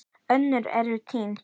Önnur eru enn týnd.